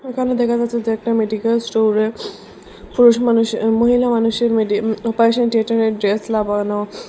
এখানে দেখা যাচ্ছে যে একটা মেডিকাল স্টোরে পুরুষ মানুষ এবং মহিলা মানুষের মেডিয়াম অপারেশন থিয়েটারের ড্রেস ।